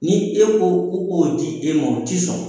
Ni e ko k'u k'o di e ma u ti sɔn.